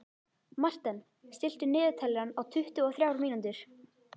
Marten, stilltu niðurteljara á tuttugu og þrjár mínútur.